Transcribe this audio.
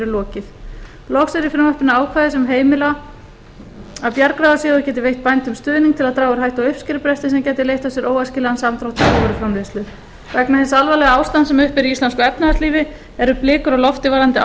lokið loks eru í frumvarpinu ákvæði sem heimila að bjargráðasjóður geti veitt bændum stuðning til að draga úr hættu á uppskerubresti sem gæti leitt af sér óæskilegan samdrátt í búvöruframleiðslu vegna hins alvarlega ástands sem uppi er í íslensku efnahagslífi eru blikur á lofti